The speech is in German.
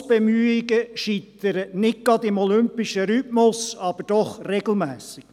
Fusionsbemühungen scheitern nicht gerade im olympischen Rhythmus, aber doch regelmässig.